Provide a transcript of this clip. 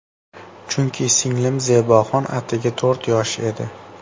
Chunki singlim Zeboxon atigi to‘rt yosh edi.